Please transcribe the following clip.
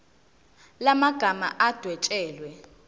la magama adwetshelwe